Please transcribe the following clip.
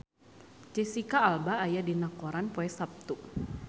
Jesicca Alba aya dina koran poe Saptu